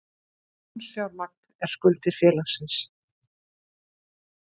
Lánsfjármagn er skuldir félagsins.